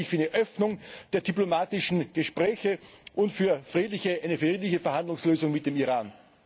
Daher bin ich für eine Öffnung der diplomatischen Gespräche und für eine friedliche Verhandlungslösung mit dem Iran.